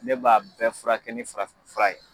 Ne b'a bɛɛ fura kɛ ni farafin fura ye.